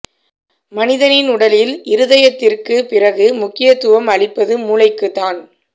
மனிதனின் உடலில் இருதயத்திற்குப் பிறகு முக்கியத்துவம் அளிப்பது மூளைக்குத் தான்